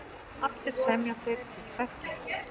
Allir semja þeir til tveggja ára.